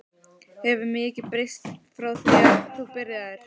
Hefur mikið breyst frá því þú byrjaðir?